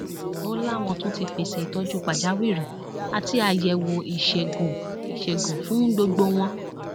ó láwọn tún ti pèsè ìtọjú pàjáwìrì àti àyẹwò ìṣègùn ìṣègùn fún gbogbo wọn